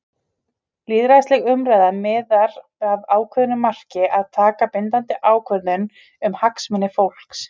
Lýðræðisleg umræða miðar að ákveðnu marki- að taka bindandi ákvörðun um hagsmuni fólks.